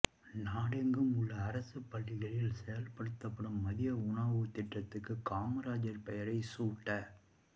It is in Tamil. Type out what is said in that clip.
நாடெங்கும் உள்ள அரசுப் பள்ளிகளில் செயல்படுத்தப்படும் மதிய உணவு திட்டத்துக்கு காமராஜர் பெயரை சூட்ட